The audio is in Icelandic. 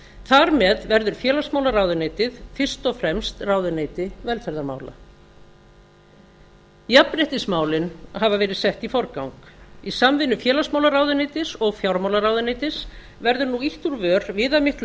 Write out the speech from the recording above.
þar með verður félagsmálaráðuneytið fyrst og fremst ráðuneyti félagsmála jafnréttismálin hafa verið sett í forgang í samvinnu félagsmálaráðuneytis og fjármálaráðuneytis verður nú ýtt úr vör viðamiklu